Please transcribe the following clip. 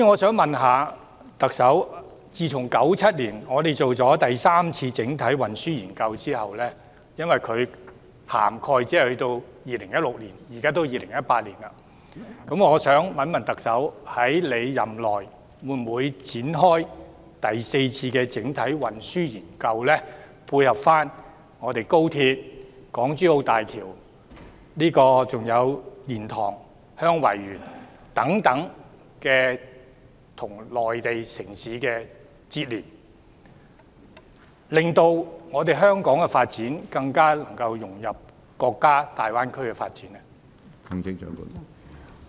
政府在1997年完成的第三次整體運輸研究只適用至2016年，而現在已是2018年，請問特首任內會否展開第四次整體運輸研究，以配合高鐵、港珠澳大橋、蓮塘/香園圍口岸等與內地城市的連接，令香港的發展更能融入國家大灣區的發展。